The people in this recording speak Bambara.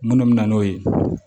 Minnu bɛ na n'o ye